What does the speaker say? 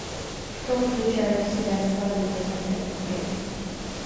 что включает в себя свадебный пакет в отеле